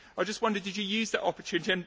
I just wondered, did you use that opportunity?